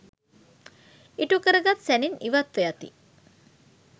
ඉටුකරගත් සැනින් ඉවත්ව යති.